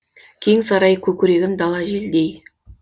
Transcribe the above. кең сарай көкірегім дала желдей